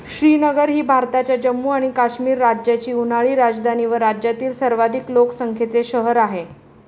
श्रीनगर ही भारताच्या जम्मू आणि काश्मीर राज्याची उन्हाळी राजधानी व राज्यातील सर्वाधिक लोकसंख्येचे शहर आहे.